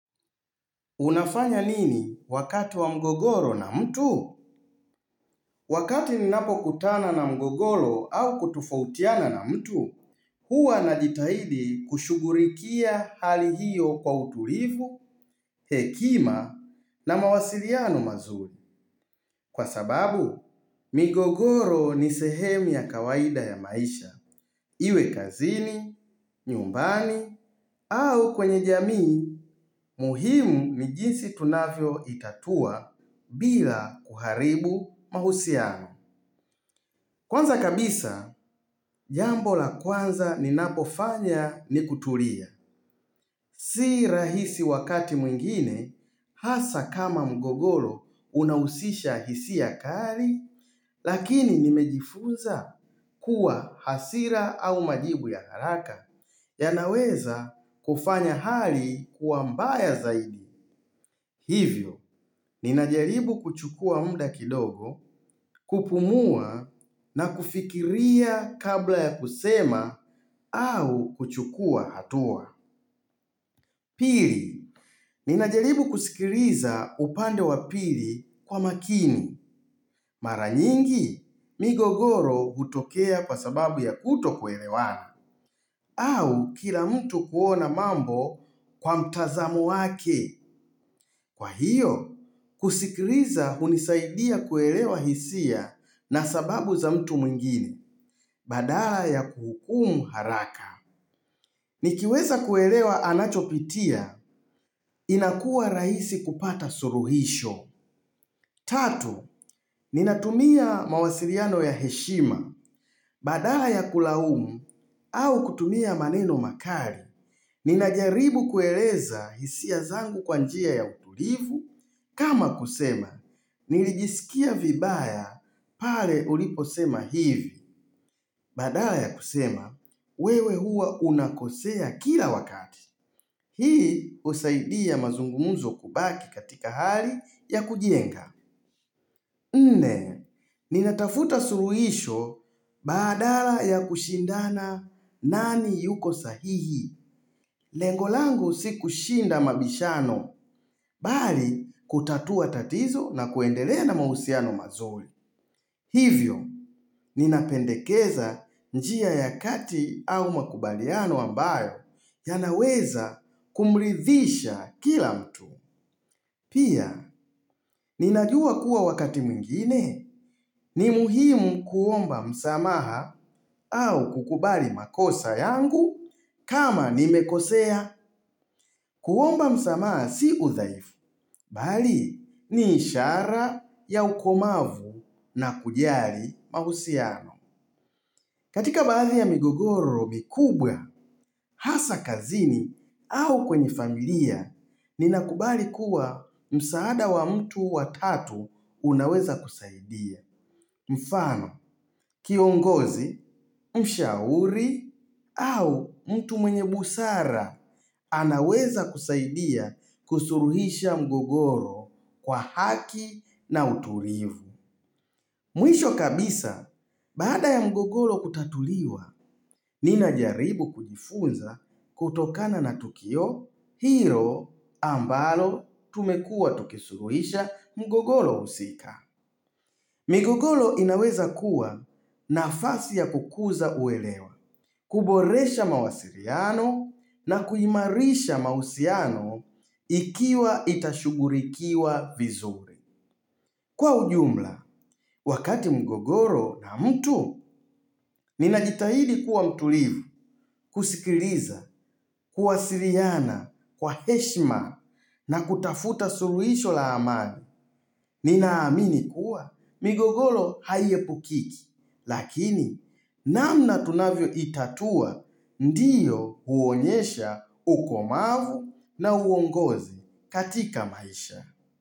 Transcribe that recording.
Unafanya nini wakati wa mgogoro na mtu? Wakati ni napo kutana na mgogoro au kutufautiana na mtu, huwa naditahidi kushugurikia hali hiyo kwa utulivu, hekima na mawasiriano mazuri. Kwa sababu, migogoro ni sehemu ya kawaida ya maisha. Iwe kazini, nyumbani au kwenye jamii. Muhimu ni jinsi tunavyo itatua bila kuharibu mahusiano. Kwanza kabisa, jambo la kwanza ninapofanya ni kutulia. Si rahisi wakati mwingine, hasa kama mgogolo unausisha hisiya kari, lakini nimejifunza kuwa hasira au majibu ya haraka yanaweza kufanya hali kuambaya zaidi. Hivyo, ninajaribu kuchukua muda kidogo kupumua na kufikiria kabla ya kusema au kuchukua hatua. Pili, ninajaribu kusikiriza upande wa pili kwa makini. Mara nyingi, migogoro utokea kwa sababu ya kuto kwelewana. Au kila mtu kuona mambo kwa mtazamo wake. Kwa hiyo, kusikiriza hunisaidia kuelewa hisia na sababu za mtu mwungine, badala ya kuhukumu haraka. Nikiweza kuelewa anachopitia, inakua raisi kupata suruhisho. Tatu, ninatumia mawasiriano ya heshima, badala ya kulahumu, au kutumia maneno makari. Ninajaribu kueleza hisia zangu kwa njia ya utulivu. Kama kusema, nilijisikia vibaya pale uliposema hivi Badala ya kusema, wewe hua unakosea kila wakati Hii usaidia mazungumuzo kubaki katika hali ya kujienga Nne, ninatafuta suruhisho badala ya kushindana nani yuko sahihi Lengo langu si kushinda mabishano, bali kutatua tatizo na kuendelea na mahusiano mazuri. Hivyo, ninapendekeza njia ya kati au makubaliano ambayo, ya naweza kumrithisha kila mtu. Pia, ninajua kuwa wakati muingine, ni muhimu kuomba msamaha au kukubali makosa yangu, kama nimekosea kuomba msamaa si udhaifu, bali ni ishara ya ukomavu na kujari mahusiano. Katika baadhi ya migogoro mikubwa, hasa kazini au kwenye familia, ninakubali kuwa msaada wa mtu watatu unaweza kusaidia. Mfano, kiongozi, mshauri au mtu mwenye busara anaweza kusaidia kusuruhisha mgogoro kwa haki na uturivu. Mwisho kabisa, bada ya mgogoro kutatuliwa, ninajaribu kujifunza kutokana na tukio, hiro ambalo tumekua tukisuruhisha mgogoro usika. Migogolo inaweza kuwa nafasi ya kukuza uelewa, kuboresha mawasiriano na kuimarisha mausiano ikiwa itashugurikiwa vizuri. Kwa ujumla, wakati mgogoro na mtu, ninajitahidi kuwa mtulivu, kusikiriza, kuwasiriana, kwa heshma na kutafuta suruisho la amani. Ninaamini kuwa migogolo haie pukiki, lakini namna tunavyo itatua ndiyo huonyesha ukomavu na huongozi katika maisha.